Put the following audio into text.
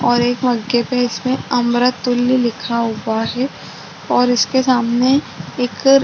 और एक मग्गे पे इसमे अमृततुल्य लिखा हुआ है और इसके सामने एक --